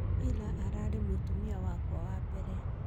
Ira-arare mutumia arare mutumia wakwa wa mbere